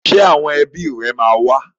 Ṣé àwọn ẹbí rẹ máa wá?